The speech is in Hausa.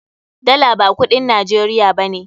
Dala ba kudin Najeriya ba ne.